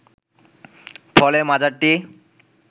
ফলে মাজারটি